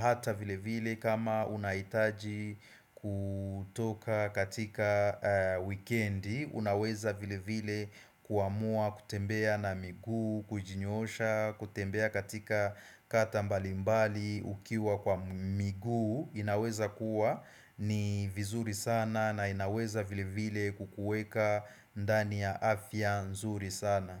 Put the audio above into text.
hata vile vile kama unahitaji kutoka katika wikendi Unaweza vile vile kuamua, kutembea na miguu, kujinyoosha, kutembea katika kata mbalimbali ukiwa kwa miguu inaweza kuwa ni vizuri sana na inaweza vile vile kukuweka ndani ya afya nzuri sana.